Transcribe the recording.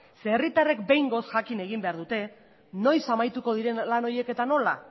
herritarrek behingoz jakin egin behar dute noiz amaituko diren lan horiek eta nola